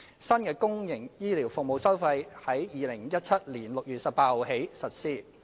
新的公營醫療服務收費自2017年6月18日起實施。